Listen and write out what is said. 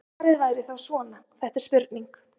Svarið væri þá svona: Þetta er spurning.